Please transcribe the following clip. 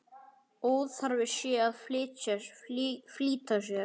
Óþarfi sé að flýta sér.